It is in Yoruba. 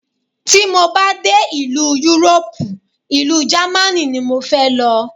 Tí mo bá dé ìlú Yúróòpù, ìlú Jámánì ni mo fẹ́ lọ.